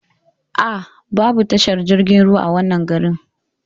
Aa, Babu tashar jirgin ruwa a wannan garin